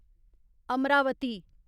Amravati